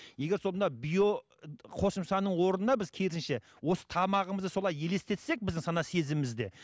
егер сол мына био қосымшаның орнына біз керісінше осы тамағымызды солай елестетсек біздің сана сезімімізде